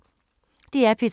DR P3